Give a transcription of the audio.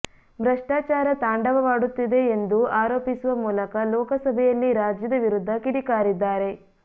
ಭ್ರಷ್ಟಾಚಾರ ತಾಂಡವ ವಾಡುತ್ತಿದೆ ಎಂದೂ ಆರೋಪಿಸುವ ಮೂಲಕ ಲೋಕಸಭೆಯಲ್ಲಿ ರಾಜ್ಯದ ವಿರುದ್ದ ಕಿಡಿಕಾರಿದ್ದಾರೆ